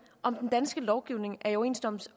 om den danske lovgivning er i overensstemmelse